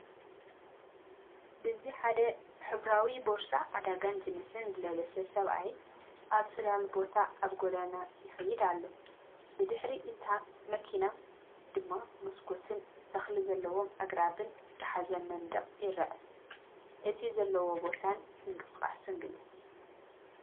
ብዚ ሓደ ሕብራዊ ቦርሳ ዕዳጋን ጂንስን ዝለበሰ ሰብኣይ ኣብ ጽላል ቦታ ኣብ ጎደና ይኸይድ ኣሎ። ብድሕሪ እታ መኪና ድማ መስኮትን ተኽሊ ዘለዎም ኣግራብን ዝሓዘ መንደቕ ይርአ። እቲ ዘሎ ቦታን ምንቅስቓስ ግለጽ።